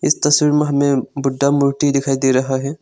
तस्वीर में हमे बुद्धा मूर्ति दिखाई दे रहा है।